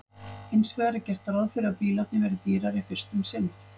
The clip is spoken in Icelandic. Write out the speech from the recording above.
Hins vegar er gert ráð fyrir að bílarnir verði dýrari fyrst um sinn.